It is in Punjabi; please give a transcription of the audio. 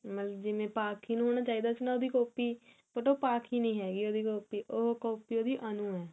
ਮਤਲਬ ਜਿਵੇਂ ਪਾਖੀ ਨੂੰ ਹੋਣਾ ਚਾਹੀਦਾ ਸੀ ਉਹਦੀ copy but ਉਹ ਪਾਖੀ ਨੀ ਹੈਗੀ ਉਹਦੀ copy ਉਹ copy ਉਹਦੀ ਅਨੂੰ ਹੈ